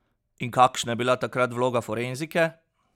In kakšna je bila takrat vloga forenzike?